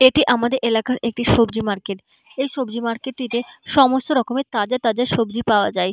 এটি আমাদের এলাকার একটি সবজি মার্কেট এই সবজি মার্কেট -টিতে সমস্ত রকমের তাজা তাজা সবজি পাওয়া যায়।